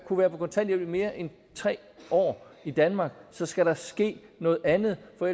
kunne være på kontanthjælp i mere end tre år i danmark så skal der ske noget andet for